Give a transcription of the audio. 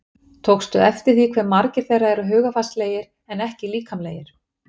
Tókstu eftir því hve margir þeirra eru hugarfarslegir en ekki líkamlegir?